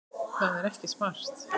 Það er ekki smart.